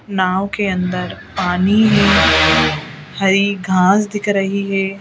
नाव के अंदर पानी में हरी घास दिख रही है।